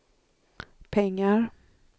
pengar